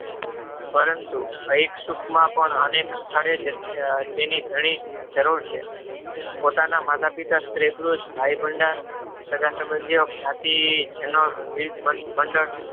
પરંતુ અયીકસુખમાં પણ અને સ્થળે જેની જરૂર છે. પોતાના માતાપિતા સગાસંબધીયો જ્ઞાતિ વિવિધ મંડળ